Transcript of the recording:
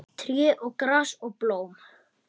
Tré og gras og blóm.